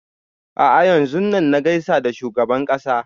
A'a yanzun nan na gaishe da shugaban ƙasa